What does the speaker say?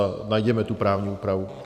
A najděme tu právní úpravu.